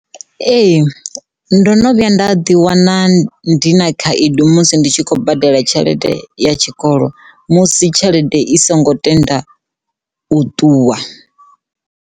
Ee ndo no vhuya nda ḓi wana ndi na khaedu musi ndi tshi khou badela tshelede ya tshikolo musi tshelede i songo tenda u ṱuwa.